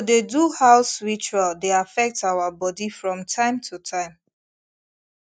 to dey do house ritual dey affect our body from time to time